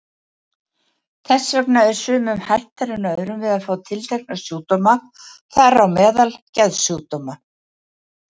Þess vegna er sumum hættara en öðrum að fá tiltekna sjúkdóma, þar á meðal geðsjúkdóma.